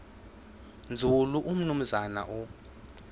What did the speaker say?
nzulu umnumzana u